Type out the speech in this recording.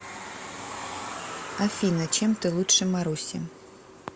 афина чем ты лучше маруси